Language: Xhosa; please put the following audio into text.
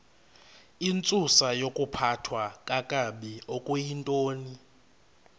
intsusayokuphathwa kakabi okuyintoni